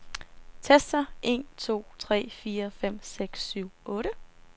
Tester en to tre fire fem seks syv otte.